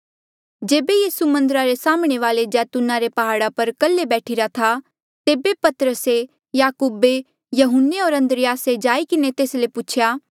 जेबे यीसू मन्दरा रे साम्हणें वाले जैतूना रे प्हाड़ा पर कल्हे बैठीरा था तेबे पतरसे याकूबे यहून्ने होर अन्द्रियासे जाई किन्हें तेस ले पूछेया